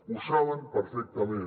ho saben perfectament